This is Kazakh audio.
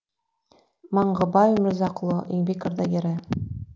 маңғыбай өмірзақұлы еңбек ардагері